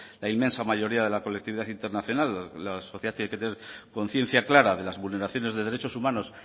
la inmensa mayoría de la colectividad internacional la sociedad tiene que tener conciencia clara de las vulneraciones de derechos humanos